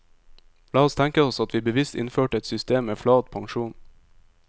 La oss tenke oss at vi bevisst innførte et system med flat pensjon.